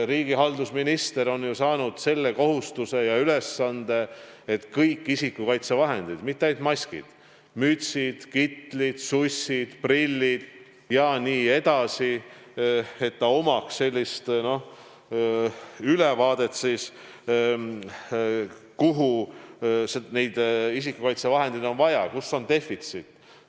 Riigihalduse minister on saanud selle kohustuse ja ülesande, et tal oleks ülevaade kõigist isikukaitsevahenditest – mitte ainult maskid, vaid ka mütsid, kitlid, sussid, prillid jne –, kuhu on neid isikukaitsevahendeid vaja, kus on defitsiit.